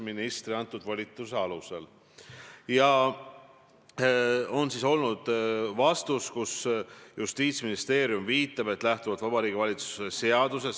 Kõigepealt, minu positsioon on see, et prokuratuur on loomulikult sõltumatu, ja ma ei näe siin prokuratuuri poliitilist kallutatust.